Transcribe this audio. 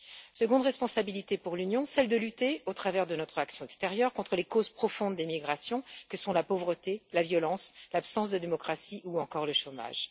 La seconde responsabilité de l'Union est de lutter, grâce à son action extérieure, contre les causes profondes des migrations que sont la pauvreté, la violence, l'absence de démocratie ou encore le chômage.